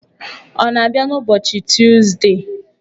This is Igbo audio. Ọ na-abịa n'ụbọchị Tuzdee.